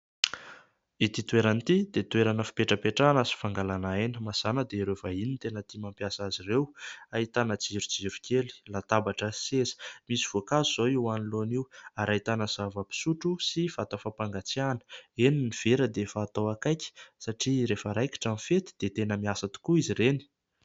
Itỳ toerana itỳ dia toerana fipetrapetrahana sy fangalàna aina. Mazàna dia ireo vahiny no tena tia mampiasa azy ireo. Ahitana jirojiro kely, latabatra sy seza ; misy voankazo izao io anoloana io ary ahitana zava-pisotro sy vata fampangatsiahana. Eny, ny vera dia efa atao akaiky satria rehefa raikitra ny fety dia tena miasa tokoa izy ireny.